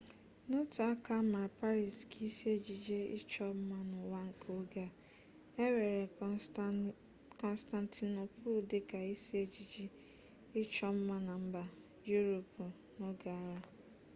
n'otu aka a maara paris ka isi ejiji ịchọ mma n'ụwa nke oge a e weere kọnstantinopul dịka isi ejiji ịchọ mma na mba yuropu n'oge agha